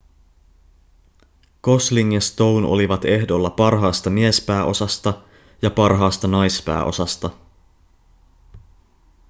gosling ja stone olivat ehdolla parhaasta miespääosasta ja parhaasta naispääosasta